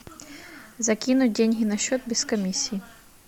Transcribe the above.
закинуть деньги на счет без комиссии